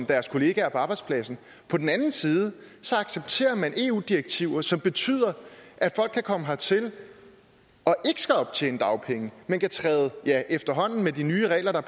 deres kollegaer på arbejdspladsen og på den anden side accepterer man eu direktiver som betyder at folk kan komme hertil og ikke skal optjene dagpenge men efterhånden med de nye regler der